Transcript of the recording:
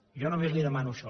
jo només li demano això